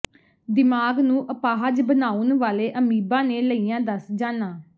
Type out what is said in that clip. ਦਿਮਾਗ ਨੂੰ ਅਪਾਹਜ ਬਣਾਉਣ ਵਾਲੇ ਅਮੀਬਾ ਨੇ ਲਈਆਂ ਦਸ ਜਾਨਾਂ